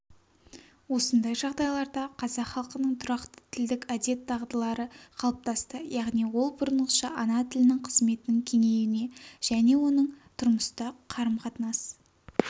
осындай жағдайларда қазақ халқының тұрақты тілдік әдет-дағдылары қалыптасты яғни ол бұрынғыша ана тілінің қызметінің кеңеюіне және оның тұрмыстық қарым-қатынас